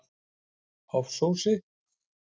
Hofsósi